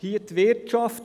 Hier die Wirtschaft.